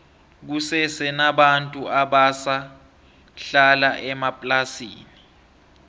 kusese nabantu abasa hlala emaplasini